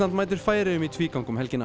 mætir Færeyjum í tvígang um helgina